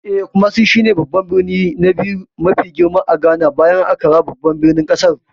Eh, Kumasi shi ne birni na biyu mafi girma a Ghana, bayan Accra babban birnin kasar.